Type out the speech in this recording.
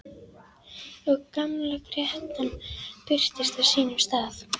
Og gamla grettan birtist á sínum stað.